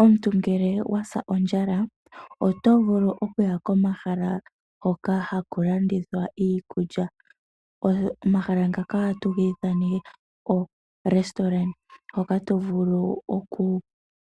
Omuntu ngele owasa ondjala oto vulu okuya komahala hoka haku landithwa iikulya, omahala ngaka ohatu ga ithana oorestaurant hoka tovulu